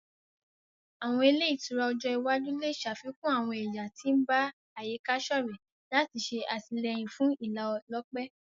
Àwọn ile itura ojo iwaju le ṣafikun àwọn ẹya ti n ba àyíká-sọrẹ lati ṣe atilẹyin fún ìlálòpẹ́